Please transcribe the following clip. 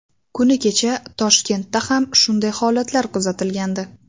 Kuni kecha Toshkentda ham shunday holatlar kuzatilgandi.